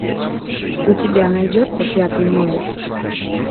у тебя найдется пятый номер